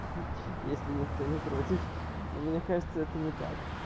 если никто не против но мне кажется это не так